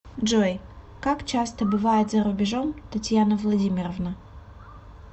джой как часто бывает за рубежом татьяна владимировна